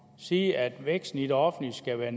sige at væksten i det offentlige skal være